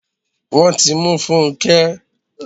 Wọ́n ti mú Funke